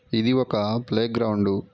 ఇది ఒక ఆ ప్లే గ్రౌండ్